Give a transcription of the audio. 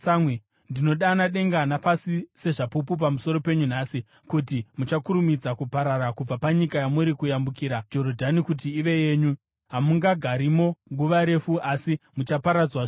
ndinodana denga napasi sezvapupu pamusoro penyu nhasi, kuti muchakurumidza kuparara kubva panyika yamuri kuyambukira Jorodhani kuti ive yenyu. Hamungagarimo nguva refu asi muchaparadzwa zvirokwazvo.